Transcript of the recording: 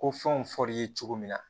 Ko fɛnw fɔr'i ye cogo min na